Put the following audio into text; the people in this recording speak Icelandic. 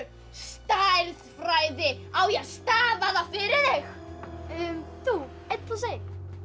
stærðfræði á ég að stafa það fyrir þig þú einn plús einn